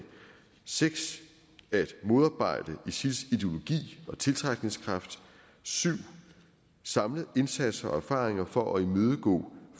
6 at modarbejde isils ideologi og tiltrækningskraft 7 at samle indsatser og erfaringer for at imødegå